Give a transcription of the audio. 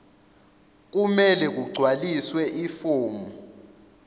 kumele kugcwaliswe ifomu